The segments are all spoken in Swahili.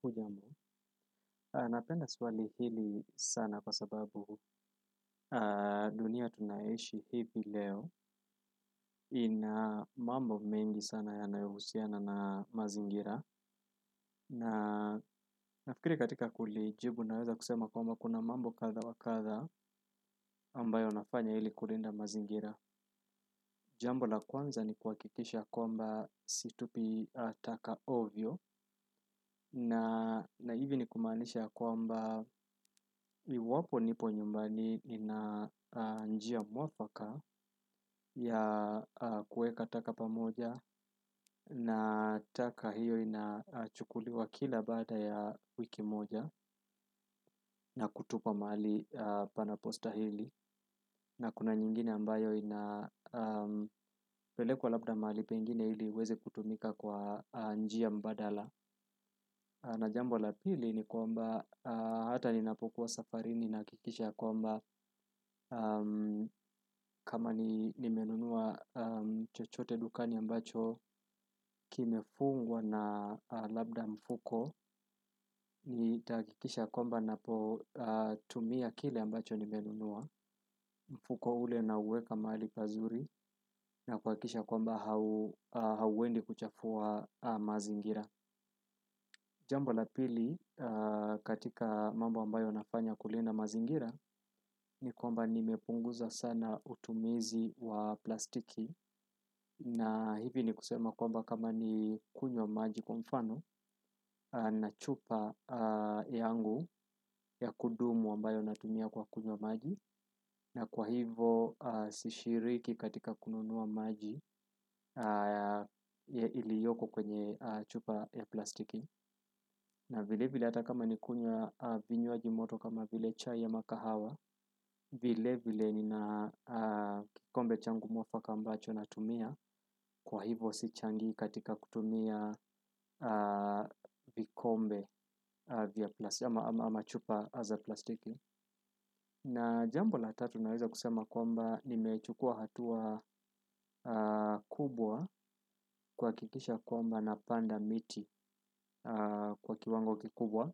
Kujambo, napenda swali hili sana kwa sababu dunia tunaishi hivi leo ina mambo mengi sana ya yanayohusiana na mazingira na nafikiri katika kulijibu naweza kusema kwamba kuna mambo kadha wa kadha ambayo nafanya ili kulinda mazingira. Jambo la kwanza ni kuhakikisha kwamba situpi taka ovyo na hivi ni kumaanisha kwamba iwapo nipo nyumbani ina njia muafaka ya kuweka taka pamoja, na taka hiyo inachukuliwa kila baada ya wiki moja na kutupa mahali panapostahili. Na kuna nyingine ambayo inapelekwa labda mahali pengine ili iweze kutumika kwa njia mbadala na jambo la pili ni kwamba hata ninapokuwa safari ni nakikisha kwamba kama nimenunua chochote dukani ambacho kimefungwa na labda mfuko nitahakikisha ya kwamba napotumia kile ambacho nimenunua mfuko ule nauweka mahali pazuri na kuhakikisha kwamba hauendi kuchafua mazingira. Jambo la pili katika mambo ambayo nafanya kulinda mazingira ni kwamba nimepunguza sana utumizi wa plastiki na hivi ni kusema kwamba kama ni kunywa maji kwa mfano na chupa yangu ya kudumu ambayo natumia kwa kunywa maji na kwa hivo sishiriki katika kununua maji iliyoko kwenye chupa ya plastiki na vile vile hata kama nikunya vinywaji moto kama vile chai ama kahawa. Vile vile nina kikombe changu muafaka ambacho natumia. Kwa hivo sichangii katika kutumia vikombe vya ama chupa za plastiki na jambo la tatu naweza kusema kwamba nimechukua hatua kubwa kuhakikisha kwamba napanda miti kwa kiwango kikubwa.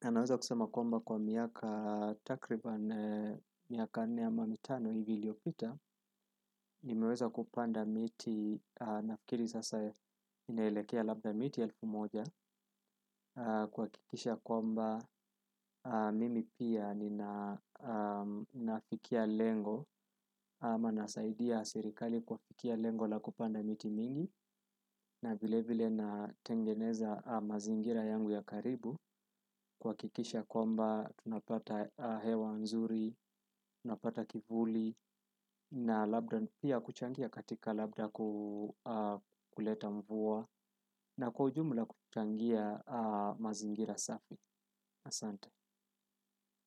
Naweza kusema kwamba kwa miaka takribani miaka nne ama mitano hivi iliyopita. Nimeweza kupanda miti nafikiri zasa inelekea labda miti elfu moja kuhakikisha kwamba mimi pia ninafikia lengo ama nasaidia sirikali kufikia lengo la kupanda miti mingi na vile vile natengeneza mazingira yangu ya karibu kuhakikisha kwamba tunapata hewa nzuri, tunapata kivuli na labda pia kuchangia katika labda kukuleta mvua na kwa ujumla kuchangia mazingira safi. Asante.